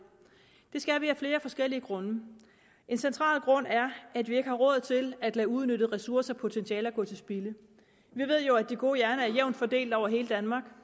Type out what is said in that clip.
det skal den af flere forskellige grunde en central grund er at vi ikke har råd til at lade uudnyttede ressourcer og potentialer gå til spilde vi ved jo at de gode hjerner er jævnt fordelt over hele danmark